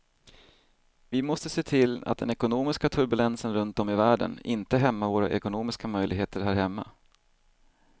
Vi måste se till att den ekonomiska turbulensen runt om i världen inte hämmar våra ekonomiska möjligheter här hemma.